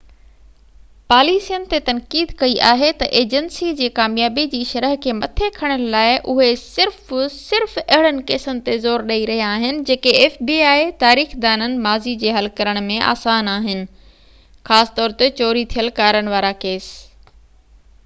تاريخ دانن ماضي جي fbi پاليسين تي تنقيد ڪئي آهي ته اجنسي جي ڪاميابي جي شرح کي مٿي کڻڻ لاءِ اهي صرف صرف اهڙن ڪيسن تي زور ڏئي رهيا آهن جيڪي حل ڪرڻ ۾ آسان آهن خاص طور تي چوري ٿيل ڪارن وارا ڪيس